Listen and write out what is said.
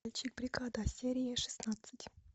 включи бригада серия шестнадцать